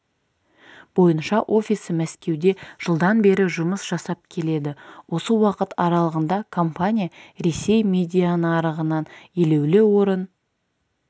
бойынша офисі мәскеуде жылдан бері жұмыс жасап келеді осы уақыт аралығында компания ресей медианарығынан елеулі орын